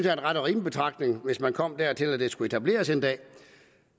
er en ret og rimelig betragtning hvis man kom dertil at det skulle etableres en dag